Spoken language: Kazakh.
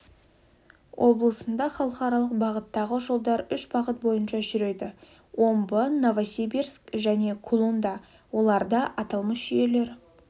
облысында халықаралық бағыттағы жолдар үш бағыт бойынша жүреді омбы новосибирск және кулунда оларда аталмыш жүйелер